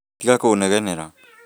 Tiga kũnegenera